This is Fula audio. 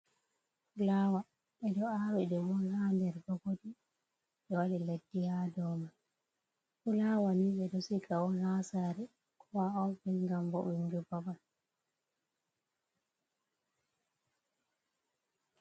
Flawa ɓe ɗo awi ɗe bon ha nder gogonji ɓe waɗi leddi ha dow man, flawa ni ɓe ɗo siga on ha sare, ko ha ofis ngam ɓo vo’ungo babal.